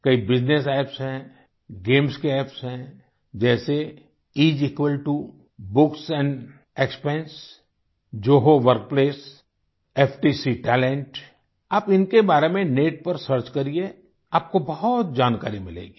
कई business apps हैं games के अप्प है जैसे इस इक्वाल्टो books expense Zoho Zoho workplace FTC talent आप इनके बारे में नेट पर सर्च करिए आपको बहुत जानकारी मिलेगी